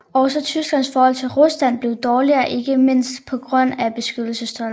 Også Tysklands forhold til Rusland blev dårligere ikke mindst på grund af beskyttelsestolden